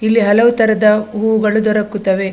ಇಲ್ಲಿ ಹಲವು ತರದ ಹೂಗಳು ದೊರಕುತ್ತವೆ .